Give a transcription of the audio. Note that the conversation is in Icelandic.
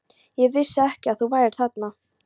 Ég vissi ekki að þú værir þarna.